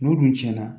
N'u dun tiɲɛna